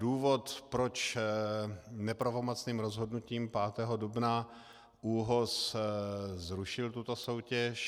Důvod, proč nepravomocným rozhodnutím 5. dubna ÚOHS zrušil tuto soutěž...